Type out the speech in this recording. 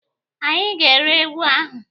Anyị ga- ere ewu ahụ.